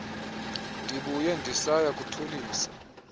ndibuye ndisaya kuthulisa